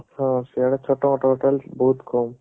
ହଁ ସିଆଡେ ଛୋଟ ମୋଟ ହୋଟେଲ ବହୁତ କମ